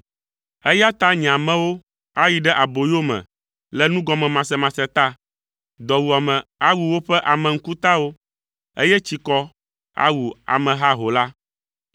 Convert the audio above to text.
Eya ta nye amewo ayi ɖe aboyome le nugɔmemasemase ta; dɔwuame awu woƒe ame ŋkutawo, eye tsikɔ awu ame haho la.